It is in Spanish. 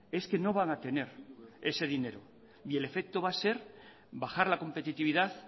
es que no van a tener ese dinero y el efecto va a ser bajar la competitividad